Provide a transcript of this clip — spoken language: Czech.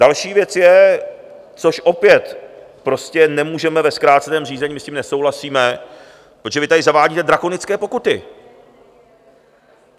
Další věc je, což opět prostě nemůžeme ve zkráceném řízení, my s tím nesouhlasíme, protože vy tady zavádíte drakonické pokuty.